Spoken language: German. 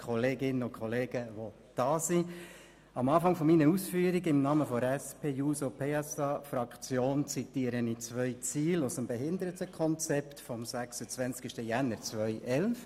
Zu Beginn meiner Ausführungen im Namen der SP-JUSO-PSA-Fraktion zitiere ich zwei Ziele aus dem Behindertenkonzept vom 26. Januar 2011.